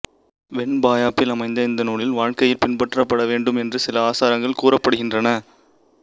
வெண்பாயாப்பில் அமைந்த இந்த நூலில் வாழ்க்கையில் பின்பற்றப்படவேண்டும் என்று சில ஆசாரங்கள் கூறப்படுகின்றன